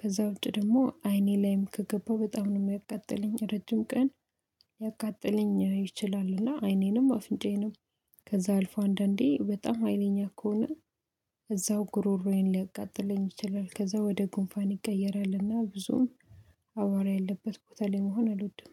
ከዛ ውጪ ደግሞ አይኔ ላይም ከገባ በጣም ነው የሚያቃጥለኝ ረጅም ቀን ይችላል። እና አይኔንም አፍንጫየንም ከዛ አልፎ አንዳንዴ በጣም ሀይለኛ ከሆነ ጉሮሮዬን ሊያቃጥለኝ ይችላል። ከዛ ወደ ጉንፋን ይቀየራልና ብዙም አቧራ ያለበት ቦታ ላይ መሆን አልወድም